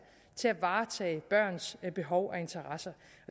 til at varetage børnenes behov og interesser